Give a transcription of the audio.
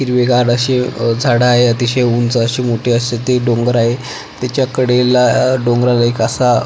हिरवीगार अशे झाड आहे अतिशय उंच अशी मोठी असे ते डोंगर आहे तेच्या कडेला डोंगराळ एक असा --